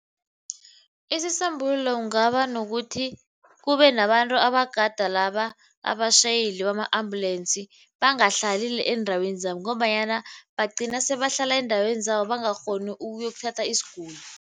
Isisombululo kungaba nokuthi kube nabantu abadala laba abatjhayeli bama-ambulensi, bangahlali eendaweni zabo ngombanyana bagcina sebahlala eendaweni zabo bangakghoni ukuyokuthatha isiguli.